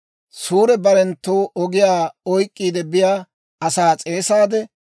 Suure barenttu ogiyaa oyk'k'iide biyaa asaa s'eesaade,